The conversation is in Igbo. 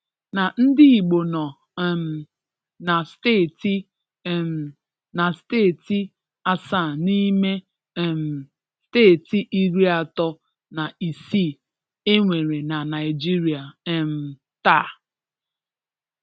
na ndị Igbo nọ um na steeti um na steeti asaa n’ ime um steeti iri atọ na isii e nwere na Naịjirịa um taa.